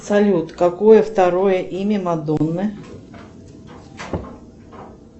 салют какое второе имя мадонны